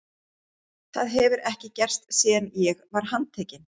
Það hefur ekki gerst síðan ég var handtekinn.